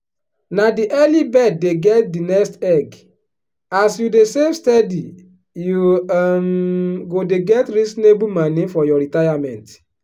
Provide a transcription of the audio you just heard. na the early bird dey get the nest egg as you dey save steady you um go dey get reasonable moni for your retirement.